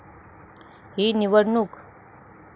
ही निवडणूक.